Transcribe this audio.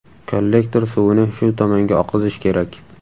Kollektor suvini shu tomonga oqizish kerak.